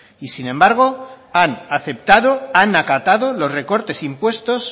y sin embargo han aceptado han acatado los recortes impuestos